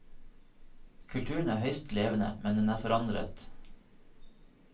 Kulturen er høyst levende, men den er forandret.